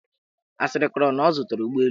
Asịrị kọrọ na ọ zụtara ụgbọelu.